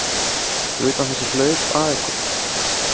Fyrir utan þessi hlaup að ykkur?